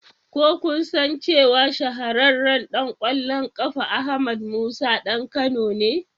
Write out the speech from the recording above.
Ko kun san cewa shahararren ɗan kwallon kafa Ahmed Musa ɗan Kano ne?